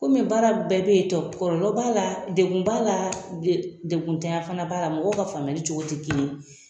Kɔmi baara bɛɛ bɛ yen tɔ kɔlɔlɔ b'a la , la degun tanya fana b'a la mɔgɔ ka faamuya cogo tɛ kelen ye.